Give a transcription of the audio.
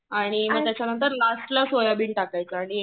आणि त्याच्यानंतर लास्टला सोयाबीन टाकायच आणि